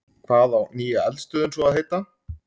Hvað á nýja eldstöðin svo að heita?